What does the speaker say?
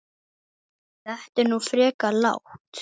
Þetta er nú frekar lágt